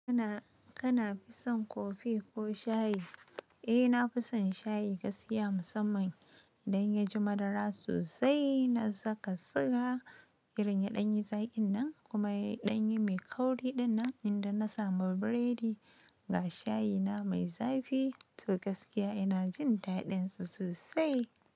Kana, kana fison Coffee ko shayi? Eh nafi son shayi gaskiya musamman idan ya ji madara sosai na saka siga, irin ya ɗanyi zaƙin nan kuma ya ɗanyi mai kauri ɗinnan inda na samu biredi ga shayi na mai zafi to gaskiya ina jin daɗin sosai.